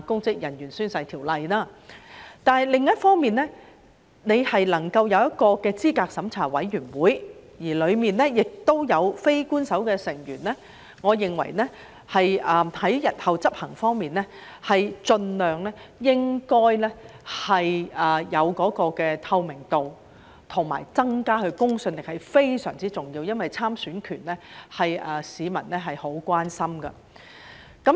不過，另一方面，能夠有一個資審會，而當中亦有非官守成員，我認為在日後執行上，盡量保持有透明度和增加其公信力是非常重要的，因為參選權是市民很關心的。